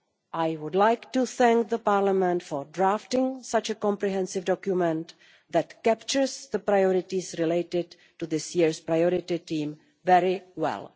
I would like to thank Parliament for drafting such a comprehensive document that captures the priorities related to this year's priority team very well.